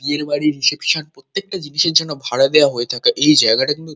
বিয়ের বাড়ির রিসেপশন প্রত্যেকটা জিনিসের জন্য ভাড়া দেয়া হয়ে থাকে। এই জায়গাটা কিন্তু--